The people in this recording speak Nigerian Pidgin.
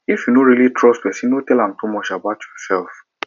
if you no really trust person no tell am too much about yourself